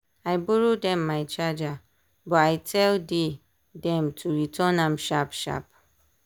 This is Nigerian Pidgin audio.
i borrow dem my charger but i tell dey dem to return am sharp sharp.